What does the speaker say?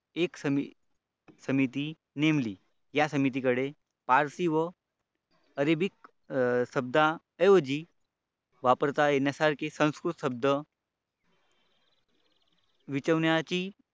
एक समिती नेमली या समितीकडे पारशी व य अरेबिक शब्द ऐवजी वापरता येण्याकरिता संस्कृत शब्द विटवण्याची